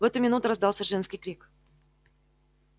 в эту минуту раздался женский крик